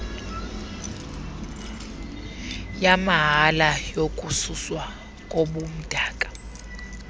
yamahala yokususwa kobumdaka